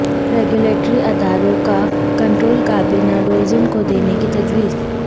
regulatory اداروں کا control کابینہ ڈویژن کو دینے کی تجویز